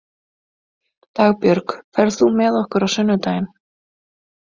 Dagbjörg, ferð þú með okkur á sunnudaginn?